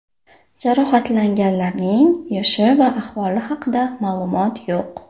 Jarohatlanganlarning yoshi va ahvoli haqida ma’lumotlar yo‘q.